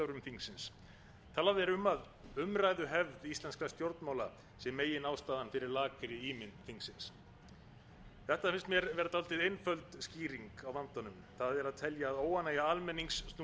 þingsins talað er um að umræðuhefð íslenskra stjórnmála sé meginástæðan fyrir fari ímynd þingsins þetta finnst mér vera dálítið einföld skýring á vandanum það er að telja að óánægja almennings snúist um umræðuvenjur í